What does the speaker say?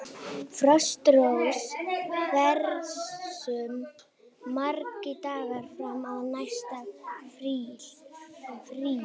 Frostrós, hversu margir dagar fram að næsta fríi?